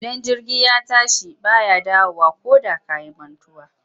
Idan jirgi ya tashi ba ya dawowa koda ka yi mantuwa.